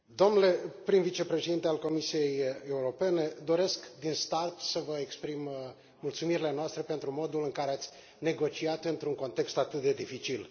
Domnule prim vicepreședinte al Comisiei Europene, doresc din start să vă exprim mulțumirile noastre pentru modul în care ați negociat într un context atât de dificil.